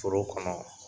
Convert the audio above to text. Foro kɔnɔ